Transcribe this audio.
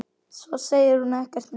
Svo segir hún ekkert meir.